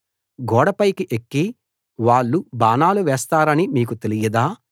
గోడపైకి ఎక్కి వాళ్ళు బాణాలు వేస్తారని మీకు తెలియదా